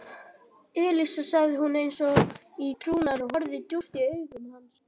Elísa sagði hún eins og í trúnaði og horfði djúpt í augu hans.